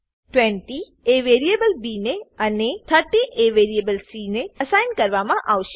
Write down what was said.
20 એ variable B ને અને 30 એ વેરીએબલ સી ને અસાઇન કરવામા આવશે